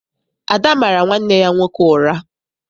Ada mara nwanne ya nwoke ụra.